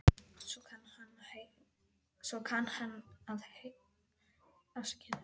Svo kann að heita að þú sért í böndum.